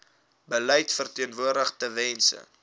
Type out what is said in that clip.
beleid verteenwoordig tewens